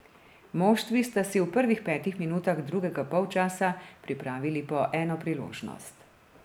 Moštvi sta si v prvih petih minutah drugega polčasa pripravili po eno priložnost.